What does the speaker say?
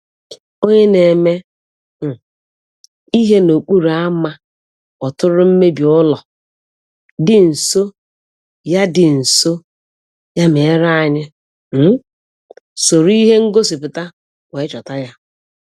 Onye na-eme um ihe n’okporo ámá kpọtụrụ mmebi ụlọ dị nso, ya dị nso, ya mere anyị um soro ihe ngosipụta wee chọta ya.